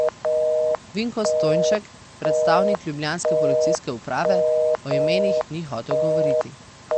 Vinko Stojnšek, predstavnik ljubljanske policijske uprave, o imenih ni hotel govoriti.